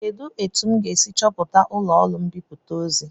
Kedụ etu m ga-esi chọta ụlọọrụ mbipụta ọzọ?